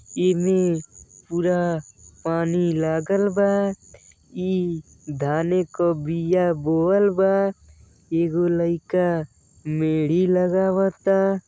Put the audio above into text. एमे पूरा पानी लागल बा। ई धाने क बीया बोवल बा। एगो लइका मेढी लगावता।